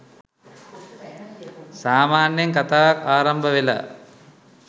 සාමාන්‍යයෙන් කථාවක් ආරම්භවෙලා